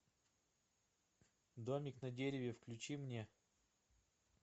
домик на дереве включи мне